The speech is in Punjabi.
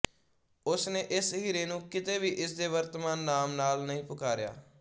ਉਸਨੇ ਇਸ ਹੀਰੇ ਨੂੰ ਕਿਤੇ ਵੀ ਇਸਦੇ ਵਰਤਮਾਨ ਨਾਮ ਨਾਲ ਨਹੀਂ ਪੁਕਾਰਿਆ